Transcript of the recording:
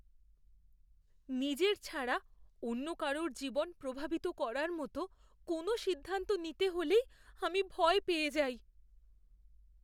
নিজের ছাড়া অন্য কারুর জীবন প্রভাবিত করার মতো কোনও সিদ্ধান্ত নিতে হলেই আমি ভয় পেয়ে যাই।